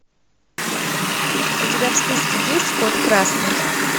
у тебя в списке есть код красный